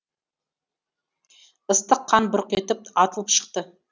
ыстық қан бұрқ етіп атылып шықты